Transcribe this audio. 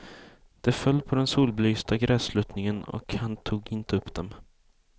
De föll på den solbelysta grässluttningen och han tog inte upp dem.